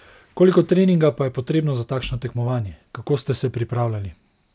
Koliko treninga pa je potrebno za takšno tekmovanje, kako ste se pripravljali?